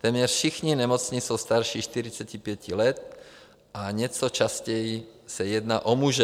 Téměř všichni nemocní jsou starší 45 let, o něco častěji se jedná o muže.